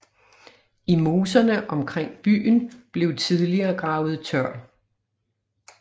I moserne omkring byen blev tidligere gravet tørv